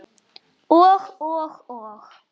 Og, og, og.